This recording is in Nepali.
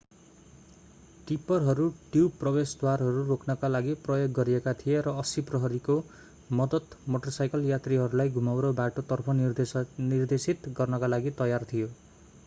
टिप्परहरू ट्युब प्रवेशद्वारहरू रोक्नका लागि प्रयोग गरिएका थिए र 80 प्रहरीको मद्दत मोटरसाइकल यात्रीहरूलाई घुमाउरो बाटो तर्फ निर्देशित गर्नका लागि तयार थियो